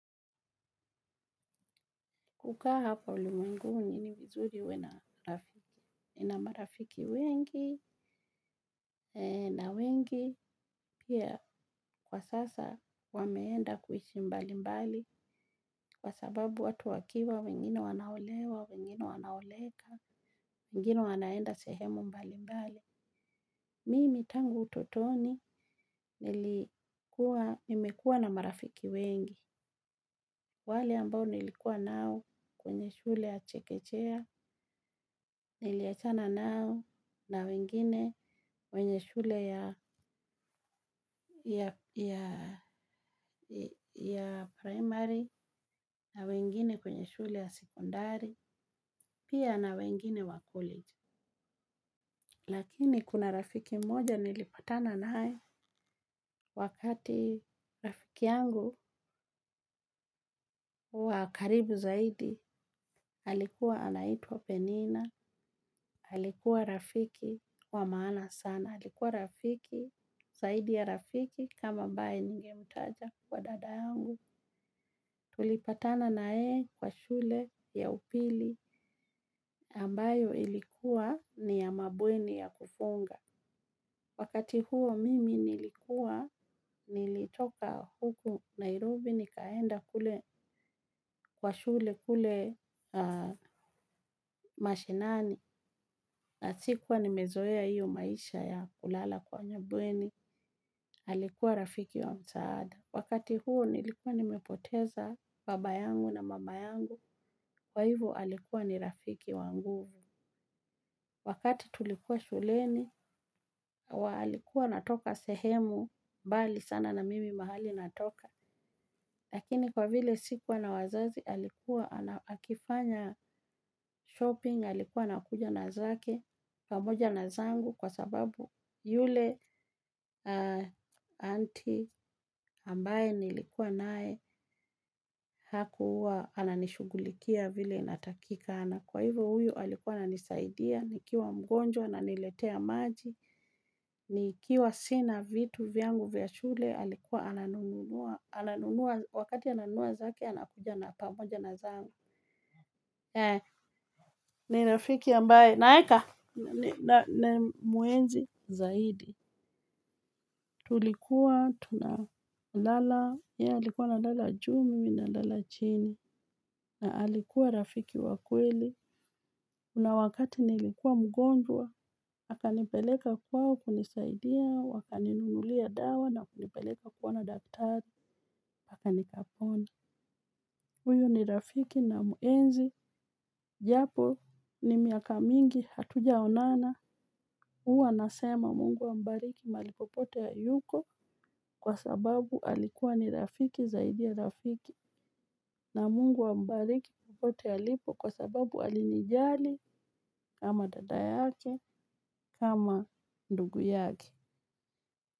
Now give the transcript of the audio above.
Kukaa hapa ulimwenguni ni vizuri uwe na nina marafiki wengi na wengi pia kwa sasa wameenda kuishi mbali mbali kwa sababu watu wakiwa, wengine wanaolewa, wengine wanaoleka, wengine wanaenda sehemu mbali mbali. Mimi tangu utotoni nimekuwa na marafiki wengi, wale ambao nilikuwa nao kwenye shule ya chekechea, niliachana nao na wengine wengine wenye shule ya ya primary na wengine kwenye shule ya secondari, pia na wengine wa college. Lakini kuna rafiki mmoja nilipatana naye wakati rafiki yangu wa karibu zaidi, alikuwa anaitwa penina, alikuwa rafiki wa maana sana, halikuwa rafiki, zaidi ya rafiki kama ambae ningemtaja kwa dada yangu. Tulipatana na yeye kwa shule ya upili ambayo ilikuwa ni ya mabweni ya kufunga. Wakati huo mimi nilikuwa nilitoka huku Nairobi nikaenda kwa shule kule mashinani. Na sikuwa nimezoea hiyo maisha ya kulala kwenye bweni alikuwa rafiki wa msaada. Wakati huo nilikuwa nimepoteza baba yangu na mama yangu. Kwa hivo alikuwa ni rafiki wa nguvu. Wakati tulikuwa shuleni, alikuwa anatoka sehemu, mbali sana na mimi mahali natoka. Lakini kwa vile sikuwa na wazazi, alikuwa, akifanya shopping, alikuwa anakuja na zake, pamoja na zangu, kwa sababu yule aunti ambaye nilikuwa naye, hakuwa, ananishughulikia vile inatakika. Kwa hivyo huyu, alikuwa ananisaidia, nikiwa mgonjwa ananiletea maji, nikiwa sina vitu vyangu vya shule, alikuwa ananununua. Ananunua, wakati ananunua zake, anakuja na pamoja na zangu. Ni rafiki ambaye, naeka, namuenzi zaidi. Tulikuwa, tunalala, ye alikuwa analala juu mimi nalala chini, na alikuwa rafiki wa kweli. Kuna wakati nilikuwa mgonjwa, akanipeleka kwao kunisaidia, wakaninunulia dawa na kunipeleka kuona daktari, nikapona. Huyo ni rafiki namuenzi, japo ni miaka mingi, hatujaonana, huwa nasema mungu ambariki mahali popote yuko kwa sababu alikuwa ni rafiki zaidi ya rafiki. Na mungu ambariki popote alipo kwa sababu alinijali kama dada yake kama ndugu yake.